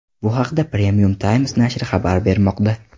Bu haqda Premium Times nashri xabar bermoqda .